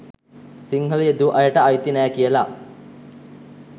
සිංහල යෙදූ අයට අයිති නෑ කියල.